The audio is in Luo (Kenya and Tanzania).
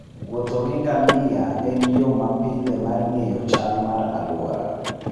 Wuotho gi ngamia en yo mapile mar ng'eyo chal mar alwora.